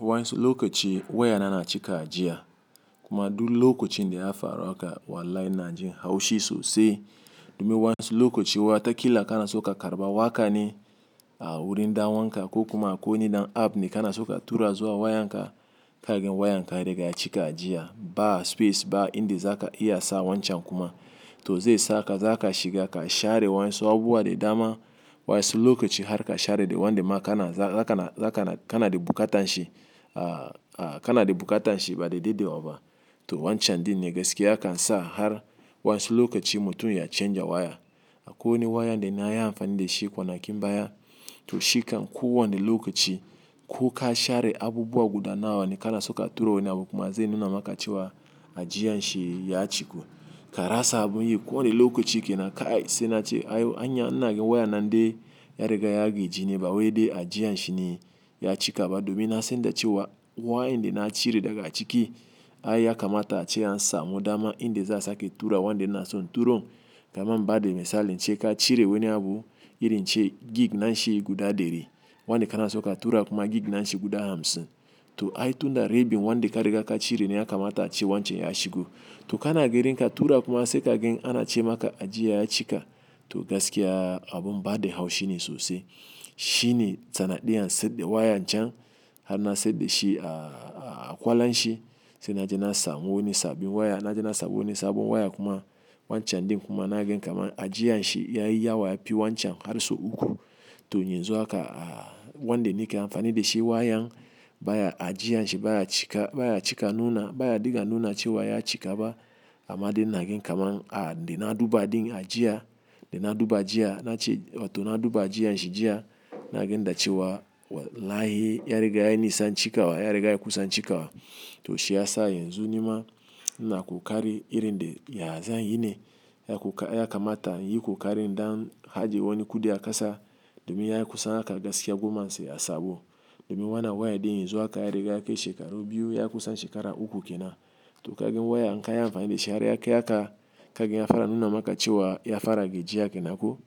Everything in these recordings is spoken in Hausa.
Wanƴasu lokochi wayana na cika ajiya kuma duk lokocin da ya faru haka wallahi ina jin haushi sosai. Domin wanƴansu lokoci wa ta kila kana so ka karɓa waka ne a wurin ɗan uwanka ko kuma akwai wani dan app ne kana so ka tura zuwa wayanka ka gan wayanka ya riga ya cika ajiya, ba space ba inda zaka iya sa wancan kuma. To zai saka zaka shiga ka share waƴansu abubuwa dama, waƴansu lokoci har ka share da wanda ma kana, za kana, za kana, kana da buƙatan shi, a kana de buƙatan shi ba da daɗewa ba. To wancan din ne gaskiya yakan sa har waƴansu lokoci mutum ya canja waya. Akwai wani wayan da na yi amfani da shi kwanakin baya. To shi kan kowane lokoci ko ka share abubuwa guda nawa ne kana so ka tura wani abu kuma zai nuna maka cewa ajiyan shi ya cika. Ka rasa abun yi kowane lokoci kenan kai, sai nace ai anya ina ga wayan nan dai ya riga ya gaji ne ba wai de ajiyan shi ne ya cika ba domin na san da cewa wa inda na cire daga ciki ai ya kamata a ce an sa mu dama inde za su ake tura wanda ina son turo. Kaman ba da misali in ce ka cire wani abu irin ce gig nashi guda deri wanda kana suka tura kuma gig nashi guda hamsin. To ai tunda ribin wande ka riga ka cire na ya kamata a ce wancan ya shigo. To kana gerin ka tura kuma sai kage an ace maka ajiya ya cika. To gaskiya abun baɗi haushi ne sosai. Shi ne tsanad ɗiyan sai de waya can har na sai de shi a, a kwala shi sai nace na sa wani sabin waya nace na sa wani sabon waya kuma wancan din kuma na ge kaman ajiya shi yayi yawa ya bi wancan har sau uku. To yanzu haka a wande ni ke amfani da shi wayan baya ajiya shi baya cika, baya cika nuna baya diga nuna cewa ya cika ba amma de na ge kaman a de na duba din ajiya de na duba jiya nace oto na duba ajiya shi jiya na ge ndace wa wallahi ya riga ya nisa cikawa ya riga ya kusa cikawa. To shi ya sa yanzu nima na ku kari irin de ya zanyi ne ya ku ka ya kamata yi ku kari dan haje wani kuɗi a kasa domin ya yi kusan aka gaskiya goma sai a sabo. Domin wana waya din yanzu haka ya riga yake shekaru biyu ya kusan shekara uku ke na. Toh kagan waya in kayi amfani dashi har ya kai haka, kagan ya fara nuna maka cewa ya fara gajiya kenan ko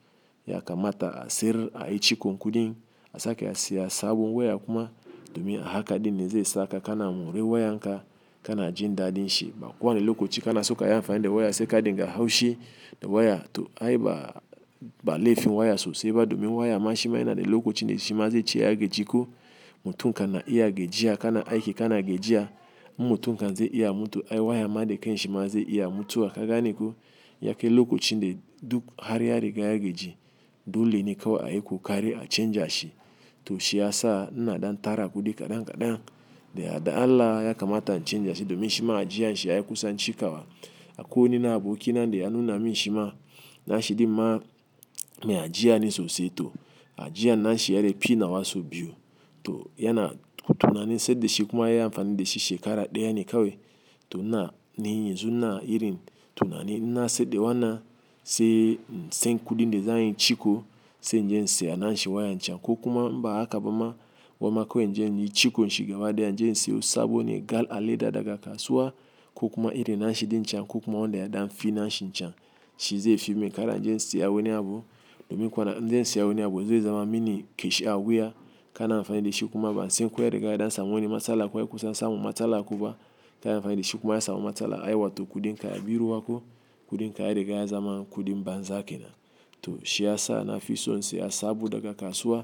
yakamata a siyar ayi cikon kuɗin, asake a siya sabon waya kuma, domin a haka ɗinne zai sa ka na mori wayan ka na jin daɗin shi ba ko wani lokaci kanaso kayi amfani da waya sai kana dinga haushi da waya, to ai ba ba laifin waya sosai ba domin waya ma shima yana da lokocin da shima zai ce ya gaji ko mutum kan na iya ya gijiya kana aiki kana ya gijiya mu mutum kan zai iya mutum ai waya ma de kai shi ma zai iya mutuwa ka gane ko, ya kai lokacin da duk har ya riga ya gaji, dole ne kawai a yi kokari a canja shi. To shi ya sa, ina ɗan tara kuɗi kaɗan kaɗan, da yardan Allah ya kamata in canja shi domin shima ajiyar shi ya yi kusan cikawa. Akwai wani na aboki nane da ya nuna min shima na shi din ma, me ajiya ne sosai to ajiya na shi, ɗan fi nawa so biyu, to yana tunanin sayar da shi kuma ya yi amfani da shi shekara ɗaya ne kawai. To ina, ni yanzu ina irin tunani, inna sayar da wannan, sai in san kuɗin da zanyi ciko se in je siya na shi waya can ko kuma ba haka ba ma, gwamma ko in je inyi cikon shi gabaɗa in je siyo sabo ne gal aleda daga kasuwa, ko kuma irin na shi din can ko kuma wanda ya ɗan fi na shi can. Shi zai fi min in kara inje in siya wani abu domin kuwa da in zan siya wani abu zai zama mini kashi a wuya, kana amfani da shi kuma ba san ko ya riga ya ɗansa wani matsala kuwa ya kusa samu matsala kuwa kana amfani da shi kuma ya samu matsala ai wa to kuɗin ka ya biyu wa ko kuɗin ka ya riga ya zama kuɗin banza ke na. To shi ya sa na fi son siya sabo daga kasuwa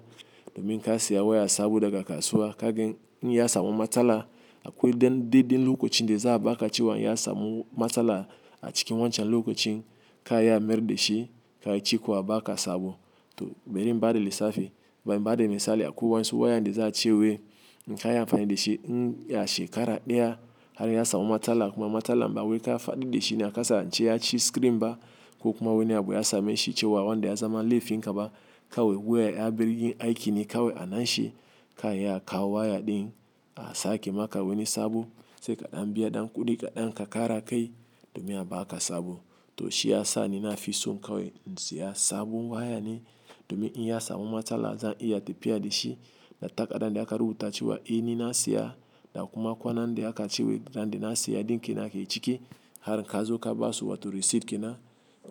domin in ka siya waya sabo daga kasuwa kagan in ya samu matsala akwai dan daidai lokacin de za baka cilewa in ya samu matsala a cikin wancan lokoin, ka iya mayar da shi kayi ciko a baka sabo. To bari in bada lissafi, bari in bada misali akwai wayansu wayan da za a ce wai inka yi amfani da shi a shekara ɗaya har ya samu matsala kuma matsala ma wai ka faɗar da shi na ka sa ce ya ci screen ba ko kuma wani abu ya same shi ce wanda ya zama laifin ka ba kawai wuya ya bar yin aiki ne kawai a na shi ka iya a kawo wayar ɗin a sake maka wani sabo sai kaɗan biya ɗan kuɗi kaɗan ka kara kai domin a baka sabo. To shi ya sa ni na fi son kawai in siya sabon waya ne domin in ya samu matsala zan iya tafiya da shi na takardan da aka rubuta cewa eh nina siya da kuma kwanan da aka ce wai ran da na siya ɗin kenan ke ciki, har ka zo ka ba su wa to receipt ke na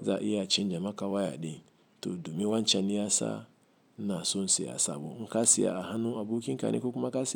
za iya canja maka waya ɗin to domin wancan ne ya sa, ina son siya sabo. In ka siya a hannu abokin ka ne ko kuma ka siya.